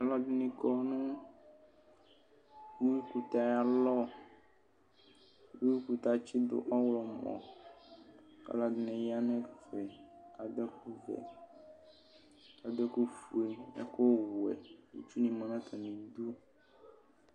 Alʋ ɛdini kɔ nʋ uwikʋtɛ ayʋ alɔ uwikʋtɛ atsidʋ ɔwlɔmɔ kʋ alʋɛdini yanʋ ɛfɛ kʋ adʋ ɛkʋfue ɛkʋwɛ ivi ma nʋ atami idʋ